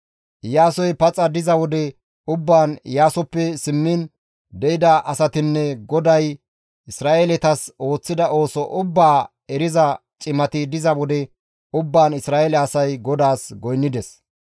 Iyaasoy paxa diza wode ubbaan, Iyaasoppe simmiin de7ida asatinne GODAY Isra7eeletas ooththida ooso ubbaa eriza cimati diza wode ubbaan Isra7eele asay GODAAS goynnides.